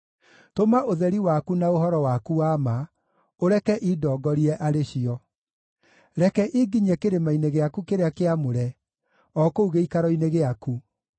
Tũma ũtheri waku na ũhoro waku wa ma, ũreke indongorie arĩ cio; reke inginyie kĩrĩma-inĩ gĩaku kĩrĩa kĩamũre, o kũu gĩikaro-inĩ gĩaku.